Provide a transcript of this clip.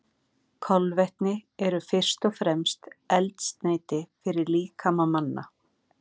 Kolvetni eru fyrst og fremst eldsneyti fyrir líkama manna.